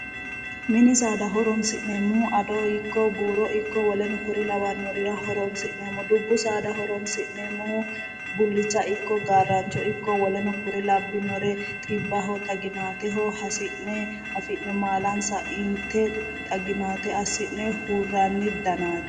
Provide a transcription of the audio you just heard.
Mini saada horoonsi'neemmohu ada ikko buuro ikko woleno kuri lawannorira horoonsi'neemmo dubbu saada horoonsi'neemmohu bullicha ikko gaarraancho woleno kuri labbinore xibbaho xaginaateho hasi'ne malaansa inte xaginaate assi'ne hurranni danaati.